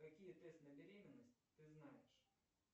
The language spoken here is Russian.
какие тест на беременность ты знаешь